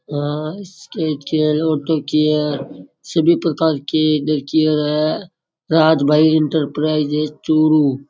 Skin care सभी प्रकार की स्किन केयर है राज भाई इंटरप्राइजेज चुरू।